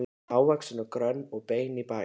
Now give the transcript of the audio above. Hávaxin og grönn og bein í baki.